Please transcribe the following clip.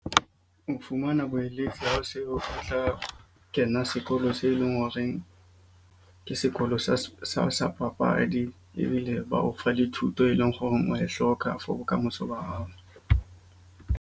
Ho fumana boeletsi ho seo, o tla kena sekolo se eleng horeng ke sekolo sa papadi. Ebile ba o fa le thuto, e leng horeng wa e hloka for bokamoso ba hao.